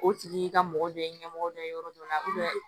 O tigi ka mɔgɔ dɔ ye ɲɛmɔgɔ dɔ ye yɔrɔ dɔ la